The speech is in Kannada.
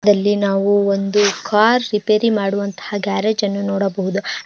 ಅದಲ್ಲಿ ನಾವು ಒಂದು ಕಾರ್ ರಿಪೇರಿ ಮಾಡುವಂತಹ ಗ್ಯಾರೇಜ್ ಅನ್ನು ನೋಡಬಹುದು.